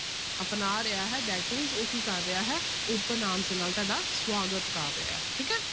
ਅਪਣਾ ਰਿਹਾ ਹੈ that means ਉਹ ਕੀ ਕਰ ਰਿਹਾ ਹੈ open arms ਦੇ ਨਾਲ ਤੁਹਾਡਾ ਸਵਾਗਤ ਕਰ ਰਿਹਾ ਹੈ ਠੀਕ ਹੈ।